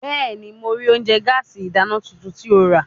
Bẹẹni, Mo rii ounjẹ gaasi idana tuntun ti o ra